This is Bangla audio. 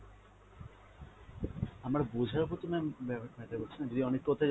আমার বোঝার প্রতি ma'am matter করছে না, যদি অনেক কথা